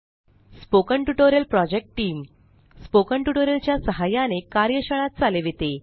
spoken tutorial project team spoken tutorial च्या सहाय्याने कार्यशाळा चालविते